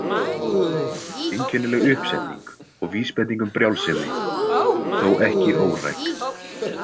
Einkennileg uppsetning og vísbending um brjálsemi, þó ekki óræk.